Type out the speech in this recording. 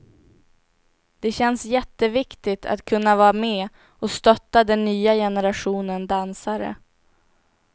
Det känns jätteviktigt att kunna vara med och stötta den nya generationen dansare.